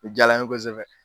A jaala n ye kosɛbɛ!